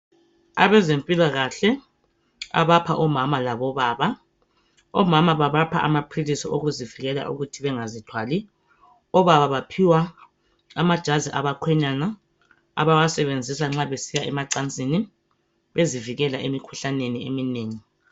Abezempilakahle abapha omama labo baba .Omama babapha amaphilisi okuzivikela ukuthi bengazithwali .Obaba baphiwa amajazi abakhwenyana abawasebenzisa nxa besiya emacansini .Bezivikela emikhuhlaneni eminengi .